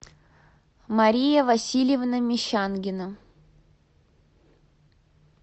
мария васильевна мещангина